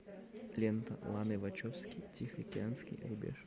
лента ланы вачовски тихоокеанский рубеж